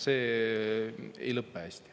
See ei lõpe hästi.